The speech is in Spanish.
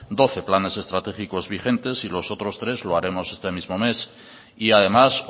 doce planes estratégicos vigentes y los otros tres los haremos este mismo mes y además